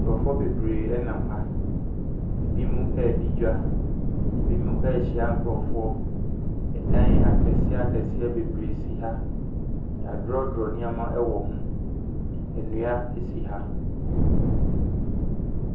Nkurɔfoɔ bebree nam ha, binom ɛredi dwa, binom ɛrehyia nkurɔfoɔ. Dan akɛseɛ akɛseɛ bebree si ha, yɛadrɔdrɔ nneɛma bebree wɔ ho, nnua si ha.